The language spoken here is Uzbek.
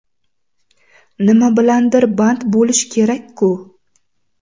Nima bilandir band bo‘lish kerak-ku.